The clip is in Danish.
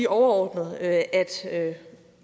overordnet at sige at